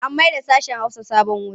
An mayarda sashen Hausa sabon wuri.